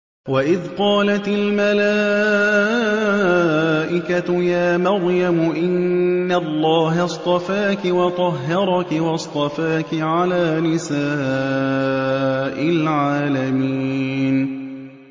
وَإِذْ قَالَتِ الْمَلَائِكَةُ يَا مَرْيَمُ إِنَّ اللَّهَ اصْطَفَاكِ وَطَهَّرَكِ وَاصْطَفَاكِ عَلَىٰ نِسَاءِ الْعَالَمِينَ